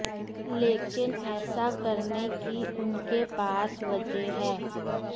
लेकिन ऐसा करने की उनके पास वजह है